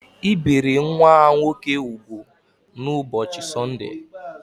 E biri nwa ha nwoke úgwù n’ụbọchị Sọndee